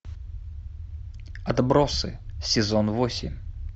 отбросы сезон восемь